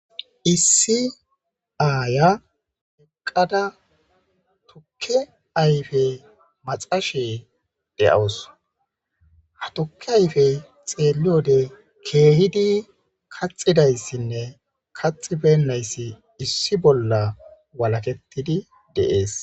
issi aaya eqqada tukke ayfe maxashe de'awus, ha tuke ayfe xeeliyode keehidi kaxidayssinne kaxi bennayssi issi bolla walakettidi de'es